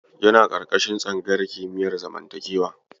Yana ƙarƙashin tsangayar kimiyar zamantakewa.